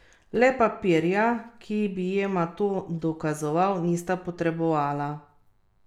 Le papirja, ki bi jima to dokazoval, nista potrebovala.